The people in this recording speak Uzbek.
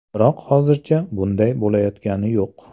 Biroq hozircha bunday bo‘layotgani yo‘q.